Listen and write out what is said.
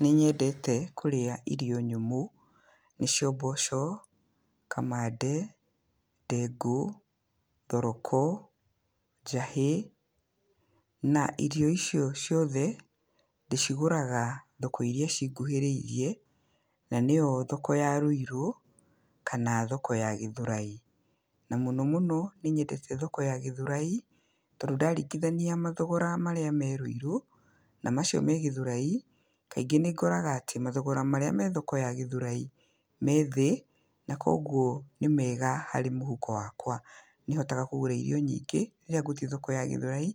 Nĩnyendete kũrĩa irio nyũmũ, nĩcio mboco, kamande, ndengũ, thoroko, njahĩ, na irio icio ciothe, ndĩcigũraga thoko iria cinguhĩrĩirie, na nĩyo thoko ya Rũirũ, kana thoko ya Gĩthũrai. Na mũno mũno nĩ nyendete thoko ya Gĩthũrai, tondũ ndaringithania mathogora marĩa me Rũirũ, na macio me thoko ya Gĩthũrai, kaingĩ nĩngoraga atĩ, mathogora marĩa me Gĩthũrai, me thĩ, na koguo nĩ mega harĩ mũhuko wakwa. Nĩ hotaga kũgũra irio nyingĩ, rĩrĩa thiĩte thoko ya Githũrai,